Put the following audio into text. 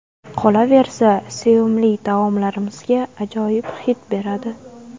Qolaversa, sevimli taomlarimizga ajoyib hid beradi.